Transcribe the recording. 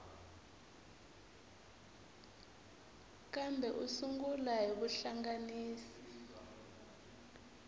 kambe u sungula hi rihlanganisi